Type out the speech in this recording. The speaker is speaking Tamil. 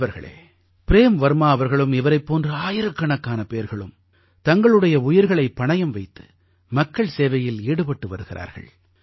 நண்பர்களே ப்ரேம் வர்மா அவர்களும் இவரைப் போன்ற ஆயிரக்கணக்கான பேர்களும் தங்களுடைய உயிர்களைப் பணயம் வைத்து மக்கள் சேவையில் ஈடுபட்டு வருகிறார்கள்